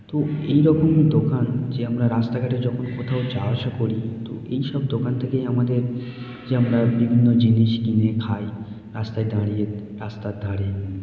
তো এই রকম দোকান যে আমরা রাস্তা ঘাটে যখন কোথাও যাওয়া আসা করি তো এইসব দোকান থেকেই আমাদের যে আমরা বিভিন্ন জিনিস কিনে খাই রাস্তায় দাঁড়িয়ে রাস্তার ধারে --|